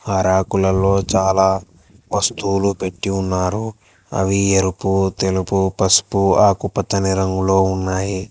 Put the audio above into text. ఆ ర్యకులలో చాలా వస్తువులు పెట్టి ఉన్నారు అవి ఎరుపు తెలుపు పసుపు ఆకుపచ్చని రంగులో ఉన్నాయి.